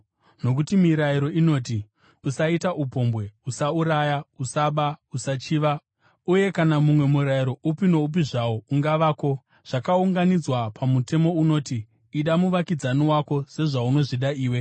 Nokuti mirayiro inoti, “Usaita upombwe,” “Usauraya,” “Usaba”, “Usachiva,” uye kana mumwe murayiro upi noupi zvawo ungavako, zvakaunganidzwa pamutemo unoti, “Ida muvakidzani wako sezvaunozvida iwe.”